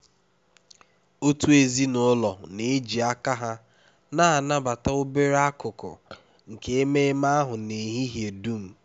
ọtụtụ ezinụlọ na-eji aka ha na-anabata obere akụkụ nke ememe ahụ n'ehihie dum